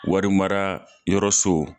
Warimararayɔrɔ so